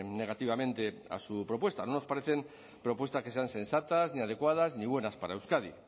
negativamente a su propuesta no nos parecen propuestas que sean sensatas ni adecuadas ni buenas para euskadi